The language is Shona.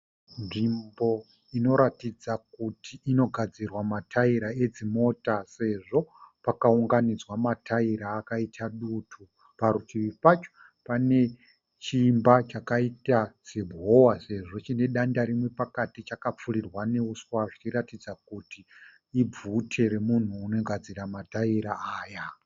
Nzvimbo inoratidza kuti inogadzirwa mataira edzimota sezvo pakaunganidzwa mataira akaita dutu. Parutivi pacho pane chimba chakaita sehova sezvo chine danda rimwe pakati chakapfurirwa nehuswa zvichiratidza kuti ibvute remunhu anogadzira mataira aya.